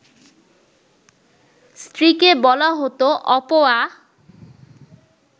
স্ত্রীকে বলা হতো অপয়া